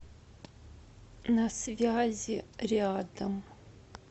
на связи рядом